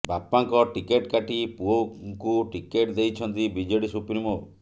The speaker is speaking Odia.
ବାପାଙ୍କ ଟିକେଟ କାଟି ପୁଅଙ୍କୁ ଟିକେଟ ଦେଇଛନ୍ତି ବିଜେଡି ସୁପ୍ରିମୋ